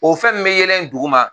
O fɛn mun be yelen dugu ma